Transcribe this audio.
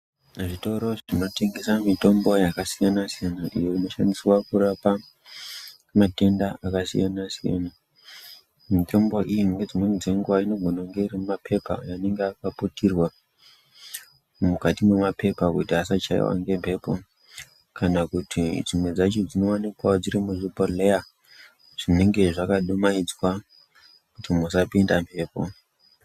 Zvitoro zvinotengesa mitombo yakasiyana siyana inoshandiswa kurapa matenda akasiyana siyana, mitombo iyi dzimweni dzenguva inogona kunge iri mumapepa anenga akaputirwa mwukati mwemapepa kuti asachaiwa ngemhepo kana kuti dzimwe dzacho dzinowanikwawo dziri muzvibhodleya zvinenge zvakadumhaidzwa kuti musapinda mhepo.